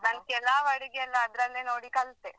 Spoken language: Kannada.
ನಾನ್ ಕೆಲವ್ ಅಡಿಗೆಯೆಲ್ಲ ಅದ್ರಲ್ಲೇ ನೋಡಿ ಕಲ್ತೆ.